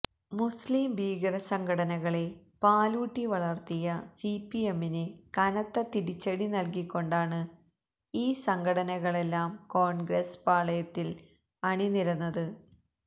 മുസ്ലീം ഭീകരസംഘടനകളെ പാലൂട്ടി വളര്ത്തിയ സിപിഎമ്മിന് കനത്ത തിരിച്ചടി നല്കിക്കൊണ്ടാണ് ഈ സംഘടനകളെല്ലാം കോണ്ഗ്രസ് പാളയത്തില് അണിനിരന്നത്